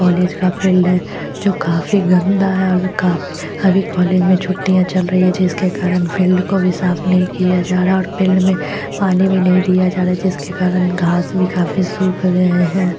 College का field है जो काफी गंदा है अभी कॉलेज में छुटियाँ चल रही हैं जिसके कारण फील्ड को भी साफ नहीं किया जा रहा और फील्ड में पानी भी नहीं दिया जा रहा जिकसे कारण घास काफी सुक रहे है।